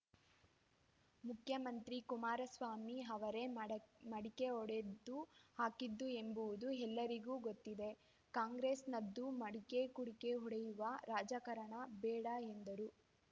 ಮುಖ್ಯಮಂತ್ರಿ ಕುಮಾರಸ್ವಾಮಿ ಅವರೇ ಮಡೆ ಮಡಿಕೆ ಹೊಡೆದು ಹಾಕಿದ್ದು ಎಂಬುವುದು ಎಲ್ಲರಿಗೂ ಗೊತ್ತಿದೆ ಕಾಂಗ್ರೆಸ್‌ನದ್ದು ಮಡಿಕೆ ಕುಡಿಕೆ ಒಡೆಯುವ ರಾಜಕಾರಣ ಬೇಡ ಎಂದರು